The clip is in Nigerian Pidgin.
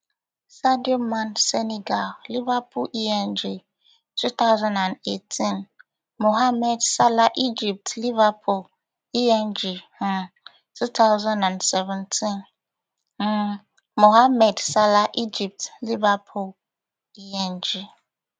sadio man senegal liverpool eng two thousand and eighteen mohamed salah egypt liverpool eng um two thousand and seventeen um mohamed salah egypt liverpool eng